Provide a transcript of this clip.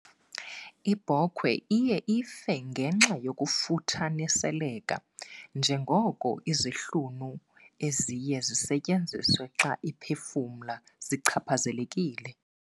Ibhokhwe iye ife ngenxa yokufuthaniseleka njengoko izihlunu eziye zisetyenziswe xa iphefumla zichaphazelekile.